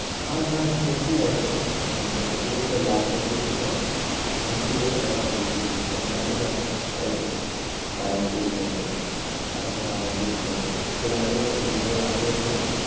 আর না ঠিকই আছে আহ মেসির ও তো last বছর ছিল। মেসিকে নেওয়াটা উচিত। এমবাপে বাইশ তেইশ বছর এখন ও অনেক নেবে। এর আগেও হয় তো দু হাজার আঠেরোতে তো